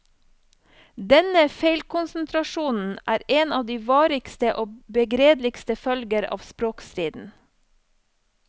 Denne feilkonsentrasjonen er en av de varigste og begredeligste følger av språkstriden.